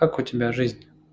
как у тебя жизнь